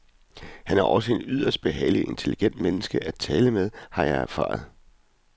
Han er også et yderst behageligt og intelligent menneske at tale med, har jeg erfaret.